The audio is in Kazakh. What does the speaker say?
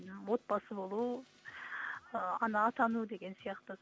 отбасы болу ы ана атану деген сияқты